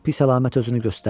Pis əlamət özünü göstərdi.